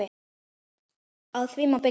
Á því má byggja.